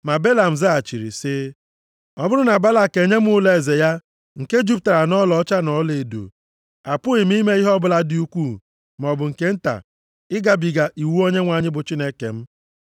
Ma Belam zaghachiri sị, “Ọ bụrụ na Balak enye m ụlọeze ya nke juputara nʼọlaọcha na ọlaedo, apụghị m ime ihe ọbụla dị ukwuu maọbụ nke nta ịgabiga iwu Onyenwe anyị bụ Chineke m.